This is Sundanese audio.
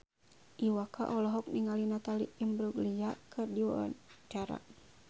Iwa K olohok ningali Natalie Imbruglia keur diwawancara